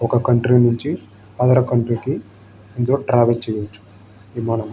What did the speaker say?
ఒక కంట్రీ నుంచి other country కి ఇందులో ట్రావెల్ చేయొచ్చు. విమానం --